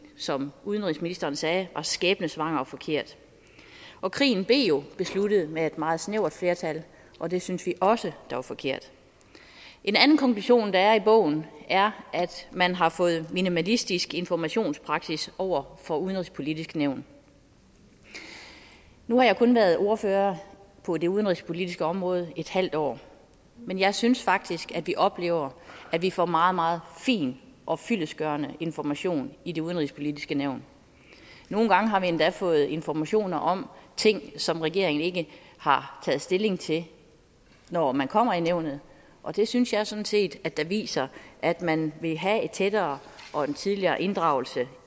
som udenrigsministeren sagde skæbnesvanger og forkert og krigen blev jo besluttet med et meget snævert flertal og det synes vi også var forkert en anden konklusion der er i bogen er at man har fået minimalistisk informationspraksis over for det udenrigspolitiske nævn nu har jeg kun været ordfører på det udenrigspolitiske område i et halvt år men jeg synes faktisk at vi oplever at vi får meget meget fin og fyldestgørende information i det udenrigspolitiske nævn nogle gange har vi endda fået informationer om ting som regeringen ikke har taget stilling til når man kommer i nævnet og det synes jeg sådan set viser at man vil have en tættere og en tidligere inddragelse